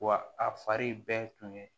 Wa a fari bɛɛ tun ye